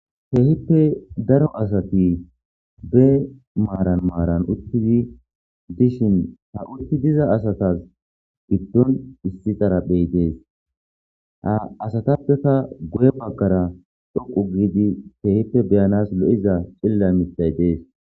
Keehippe daro asati be maaran maaran uuttidi dishin ha uutti diza asatas giddon issizaraphezey dees ha asatappeka guye baggara dhoqqu giidi keehippe beyanas lo'iza cililla miththay dees